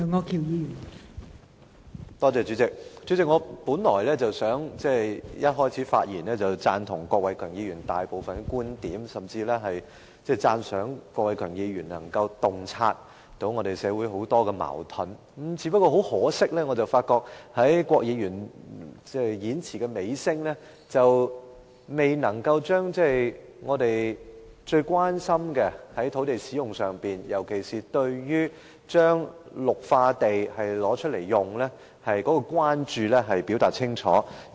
代理主席，我本來打算一開始發言便表示贊同郭偉强議員剛才提述的大部分觀點，甚至讚賞他能夠洞察社會上很多矛盾，但很可惜，郭偉强議員直到演辭尾聲仍沒有就我們最關心的土地使用問題，尤其是使用綠化地的問題，作出清楚表述。